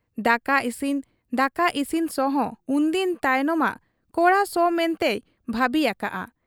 ᱫᱟᱠᱟ ᱤᱥᱤᱱ ᱫᱟᱠᱟ ᱤᱥᱤᱱ ᱥᱚᱦᱚᱸ ᱩᱱᱫᱤᱱ ᱛᱟᱭᱚᱢᱟᱜ ᱠᱚᱲᱟ ᱥᱚ ᱢᱮᱱᱛᱮᱭ ᱵᱷᱟᱹᱵᱤ ᱟᱠᱟᱜ ᱟ ᱾